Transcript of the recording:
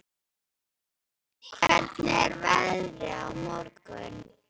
Rúrik, hvernig er veðrið á morgun?